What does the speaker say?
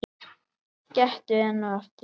Gettu enn og aftur.